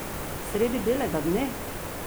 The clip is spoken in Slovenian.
Sredi belega dne?